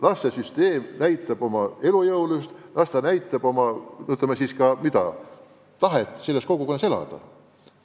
Las süsteem näitab oma elujõulisust, las inimesed näitavad tahet selles kogukonnas elada.